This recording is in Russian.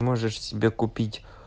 можешь себе купить